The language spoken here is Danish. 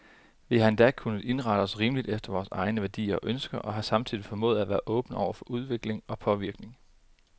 Vi har endda kunnet indrette os rimeligt efter vore egne værdier og ønsker, og har samtidig formået at være åbne for udvikling og påvirkning.